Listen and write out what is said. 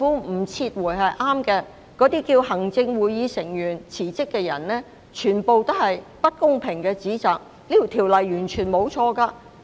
那些叫行政會議成員辭職的人，所作的全部是不公平的指責，這項修訂條例完全沒有錯誤。